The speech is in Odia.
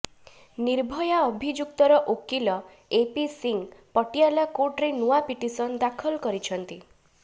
ନିର୍ଭୟା ଅଭିଯୁକ୍ତର ଓକିଲ ଏପି ସିଂହ ପଟିଆଲା କୋର୍ଟରେ ନୂଆ ପିଟିସନ୍ ଦାଖଲ କରିଛନ୍ତି